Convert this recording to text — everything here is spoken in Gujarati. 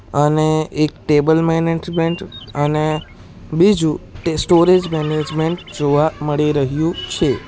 અને એક ટેબલ મેનેજમેન્ટ અને બીજું તે સ્ટોરેજ મેનેજમેન્ટ જોવા મળી રહ્યું છે.